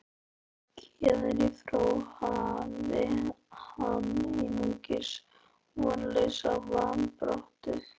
Héðan í frá háði hann einungis vonlausa varnarbaráttu.